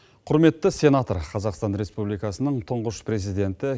құрметті сенатор қазақстан республикасының түңғыш президенті